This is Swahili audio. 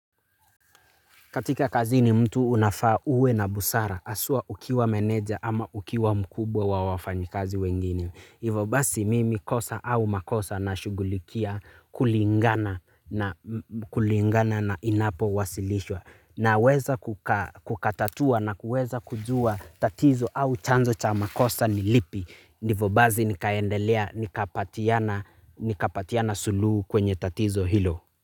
Katika kazini mtu unafaa uwe na busara. Aswa ukiwa meneja ama ukiwa mkubwa wa wafanyikazi wengine. Ivo basi mimi kosa au makosa nashugulikia kulingana na inapo wasilishwa. Naweza kukatatua na kuweza kujua tatizo au chanzo cha makosa ni lipi. Ivo basi nikaendelea nikapatiana suluhu kwenye tatizo hilo.